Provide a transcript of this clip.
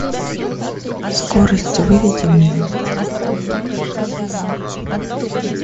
скорость выведи мне